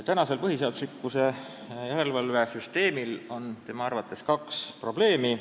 Meie põhiseaduslikkuse järelevalve süsteemi puhul on tema arvates tegu kahe probleemiga.